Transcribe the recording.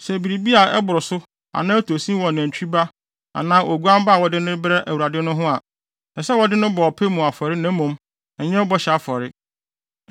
Sɛ biribi a ɛboro so anaa ɛtɔ sin wɔ nantwi ba anaa oguan ba a wɔde no rebrɛ Awurade no ho a, ɛsɛ sɛ wɔde no bɔ ɔpɛ mu afɔre na mmom, ɛnyɛ bɔhyɛ afɔre.